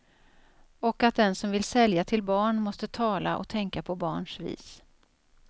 Och att den som vill sälja till barn, måste tala och tänka på barns vis.